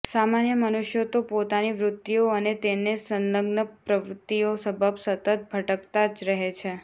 સામાન્ય મનુષ્યો તો પોતાની વૃત્તિઓ અને તેને સંલગ્ન પ્રવૃત્તિઓ સબબ સતત ભટકતા જ રહે છે